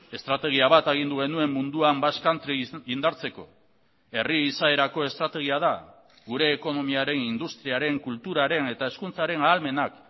estrategia bat agindu genuen munduan basque country indartzeko herri izaerako estrategia da gure ekonomiaren industriaren kulturaren eta hezkuntzaren ahalmenak